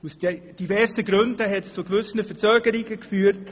Verschiedene Gründe haben zu Verzögerungen geführt.